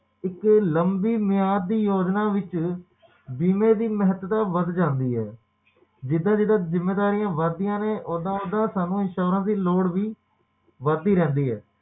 ਇੱਕ ਮਾਲਬੀ ਮਿਆਦ ਦੀ ਯੋਜਨਾ ਵਿੱਚ ਬੀਮੇ ਦੀ ਮਹੱਤਤਾ ਵੱਧ ਜਾਂਦੀ ਹੈ ਜਿੱਦਾ ਜਿੱਦਾ ਜਿੰਮੇਵਾਰੀਆਂ ਵਧਦੀਆਂ ਨੇ ਓਦਾਂ ਓਦਾਂ ਸਾਨੂੰ insurance ਦੀ ਲੋੜ ਵੀ ਵੱਧ ਦੀ ਰਹਿੰਦੀ ਹੈ